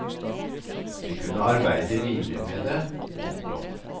Vi kunne arbeide videre med det. punktum